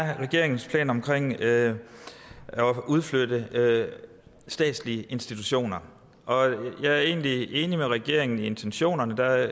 er regeringens plan omkring at udflytte statslige institutioner jeg er egentlig enig med regeringen i intentionerne der